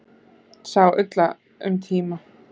Sá illa um tíma